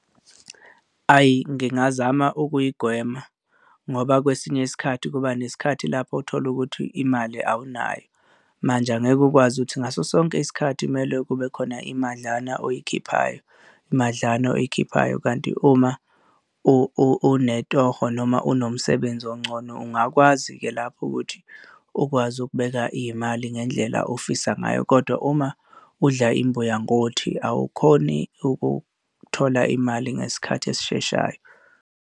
Ayi ngingazama ukuyigwema, ngoba kwesinye isikhathi kuba nesikhathi lapho uthole ukuthi imali awunayo, manje angeke ukwazi ukuthi ngaso sonke isikhathi kumele kube khona imadlana oyikhiphayo, imadlana oyikhiphayo kanti uma unetoho noma unomsebenzi ongcono ungakwazi-ke lapho ukuthi ukwazi ukubeka iy'mali ngendlela ofisa ngayo kodwa uma udla imbuya ngothi, awukhoni ukuthola imali ngesikhathi esisheshayo.